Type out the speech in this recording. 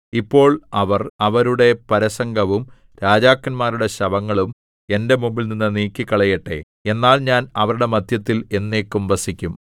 ഇപ്പോൾ അവർ അവരുടെ പരസംഗവും രാജാക്കന്മാരുടെ ശവങ്ങളും എന്റെ മുമ്പിൽനിന്ന് നീക്കിക്കളയട്ടെ എന്നാൽ ഞാൻ അവരുടെ മദ്ധ്യത്തിൽ എന്നേക്കും വസിക്കും